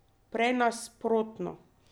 Prej nasprotno.